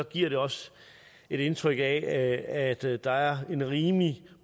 giver det også et indtryk af at der er en rimelig